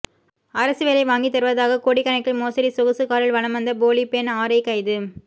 அரசு வேைல வாங்கி தருவதாக கோடிக்கணக்கில் மோசடி சொகுசு காரில் வலம் வந்த போலி பெண் ஆர்ஐ கைது